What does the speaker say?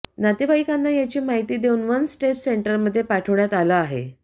नातेवाईकांना याची माहिती देऊन वन स्टेप सेंटरमध्ये पाठवण्यात आलं आहे